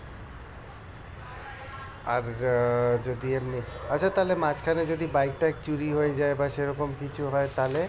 আর যদি আমি আচ্ছা তাহলে মাঝখানে যদি bike টায়িক চুরি হয়ে যায় বা সেরকম কিছু হয়ে তাহলে?